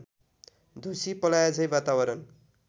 ढुसी पलाएझैँ वातावरण